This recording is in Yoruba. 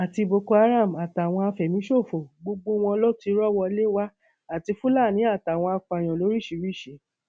àti boko haram àti àwọn àfẹmíṣòfò gbogbo wọn ló ti rọ wọlé wá àti fúlàní àti àwọn apààyàn lóríṣìíríṣìí